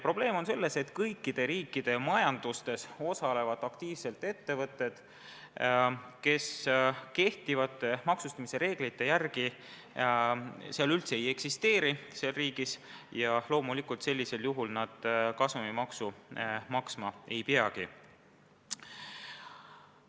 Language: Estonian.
Probleem on selles, et kõikide riikide majandustes osalevad aktiivselt ettevõtted, kes kehtivate maksustamise reeglite seisukohalt konkreetsetes riikides üldse ei eksisteeri ja sel juhul nad loomulikult kasumimaksu maksma ei peagi.